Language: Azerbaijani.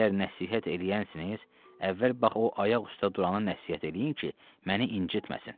Siz əgər nəsihət eləyənsiniz, əvvəl bax o ayaq üstə durana nəsihət eləyin ki, məni incitməsin.